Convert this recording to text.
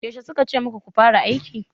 Yaushe suka ce muku ku fara aiki?